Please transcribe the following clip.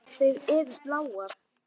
Þær eru bláar.